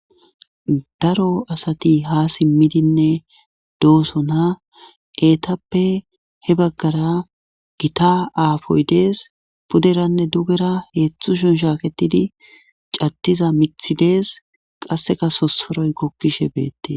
Daro asati ha simmidinne doosona eetappe he baggara gita aafoy dees puderanne dugera heeththu shun shaaketidi cattiza mithidees qasseka sosoroy gokkishe beettes.